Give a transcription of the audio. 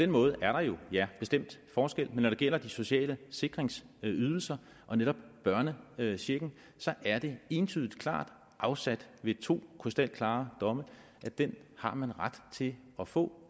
måde er der jo bestemt forskel men når det gælder de sociale sikringsydelser og netop børnechecken er det entydigt klart afsagt ved to krystalklare domme at den har man ret til at få